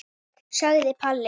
sagði Palli.